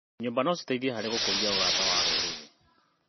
Nyũmba no citeithie harĩ gũkũria ũrata wa rũrĩrĩ.